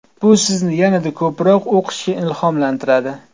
Bu sizni yanada ko‘proq o‘qishga ilhomlantiradi.